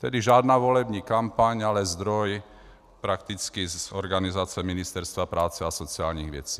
Tedy žádná volební kampaň, ale zdroj prakticky z organizace Ministerstva práce a sociálních věcí.